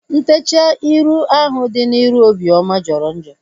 Ntechaa ịrụ ahu dị n'iru Obioma jọrọ njọ